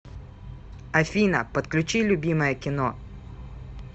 афина подключи любимое кино